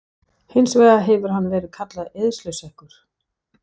Hins vegar hefur hann verið kallaður eyðsluseggur